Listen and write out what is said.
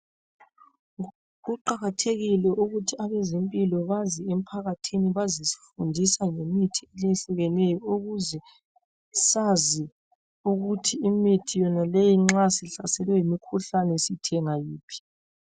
Kuqakathekile ukuthi abazempilo baze emphakathini bazesifundisa ngemithi eyehlukeneyo. Ukuze sazi ukuthi imithi yonaleyi nxa sihlaselwe yimikhuhlane sithenga yiphi.